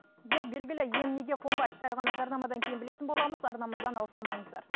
дерт белгілі ем неге қонбайды сәл ғана жарнамадан кейін білетін боламыз арнамыздан алыстамаңыздар